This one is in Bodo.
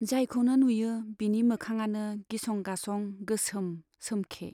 जायखौनो नुयो बिनि मोखाङानो गिसं गासं गोसोम सोमखे।